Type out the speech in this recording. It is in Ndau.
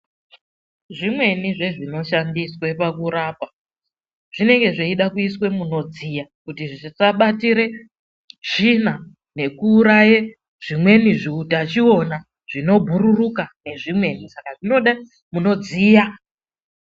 Zvimweni zvezvinoshandiswe pakurapa zvinenge zveide kuiswe munodziya kuti zvisabatire tsvina nekuraye zvimweni zviutachiona zvinobhururuka nezvimweni. Saka zvinoda munodziya.